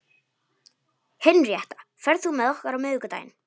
Henrietta, ferð þú með okkur á miðvikudaginn?